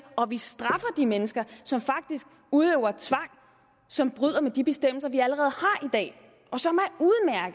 og vi straffer de mennesker som faktisk udøver tvang og som bryder med de bestemmelser vi allerede